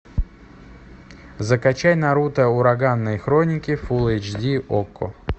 закачай наруто ураганные хроники фулл эйч ди окко